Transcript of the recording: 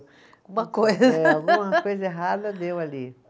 Uma coisa. Eh, alguma coisa errada deu ali.